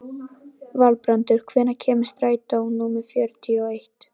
Valbrandur, hvenær kemur strætó númer fjörutíu og eitt?